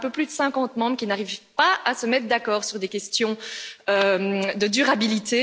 Un peu plus de 50 membres qui n'arrivent pas à se mettre d'accord sur des questions de durabilité.